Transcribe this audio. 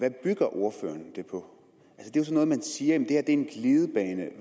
ordføreren siger at det her er en glidebane